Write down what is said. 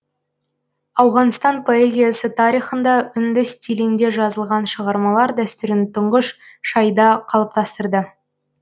ауғанстан поэзиясы тарихында үнді стилінде жазылған шығармалар дәстүрін тұңғыш шайда қалыптастырды